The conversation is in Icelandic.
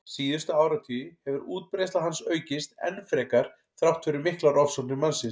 Síðustu áratugi hefur útbreiðsla hans aukist enn frekar þrátt fyrir miklar ofsóknir mannsins.